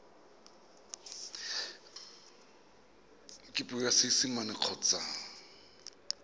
ka puo ya seesimane kgotsa